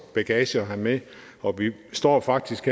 bagage at have med og vi står faktisk